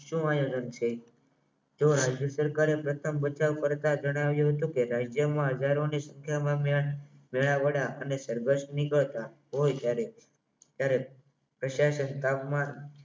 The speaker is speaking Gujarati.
જો રાજ્ય સરકારે બચાવ કરતા જણાવ્યું હતું કે રાજ્યમાં હજારોની સંખ્યામાં સર્કસની કરતા તોય ક્યારે પ્રશાસન કામમાં